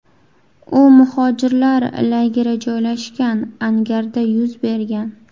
U muhojirlar lageri joylashgan angarda yuz bergan.